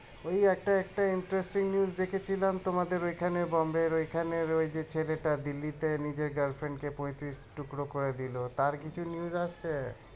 ওই একটা একটা interesting news দেখেছিলাম তোমাদের ওখানে Bombe র ওইখানের ওই যে ছেলেটার Delhi নিজের girlfriend কে পঁয়ত্রিশ টুকরো করে দিলো তাঁর কিছু news আছে